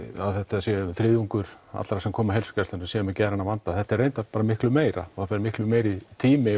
að þetta sé um þriðjungur allra sem koma á heilsugæsluna sem eru með geðrænan vanda þetta er reyndar bara miklu meira og það fer miklu meiri tími